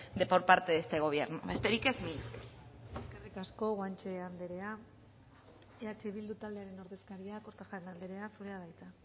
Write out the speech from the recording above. por parte de este gobierno besterik ez mila esker eskerrik asko guanche anderea eh bildu taldearen ordezkaria kortajarena anderea zurea da hitza